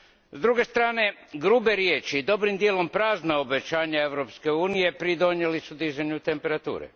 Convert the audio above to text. S druge strane, grube riječi, dobrim dijelom prazna obećanja Europske unije pridonijeli su dizanju temperature.